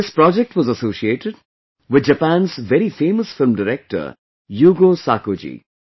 This project was associated with Japan's very famous film director Yugo Sako Ji